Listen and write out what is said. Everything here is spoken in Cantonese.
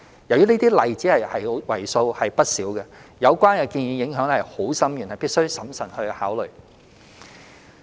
由於這些例子為數不少，有關建議影響深遠，故此必須審慎考慮。